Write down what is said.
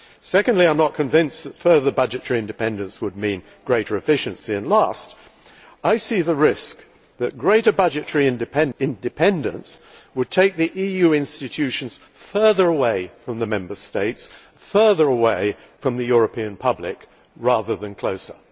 Secondly, I am not convinced that further budgetary independence would mean greater efficiency, and lastly, I see the risk that greater budgetary independence would take the EU institutions further away from the Member States, further away from the European public, rather than closer.